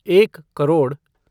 एक करोड़